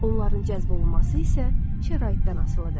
Onların cəlb olunması isə şəraitdən asılıdır.